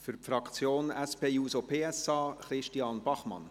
Für die SP-JUSO-PSA-Fraktion: Christian Bachmann.